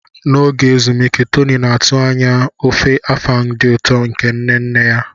N'oge ezumike, Tony na-atụ anya ofe Afang dị ụtọ nke nne nne ya.